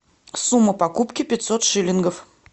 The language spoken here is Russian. сумма покупки пятьсот шилингов